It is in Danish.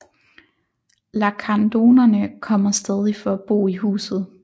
Lacandonerne kommer stadig for at bo i huset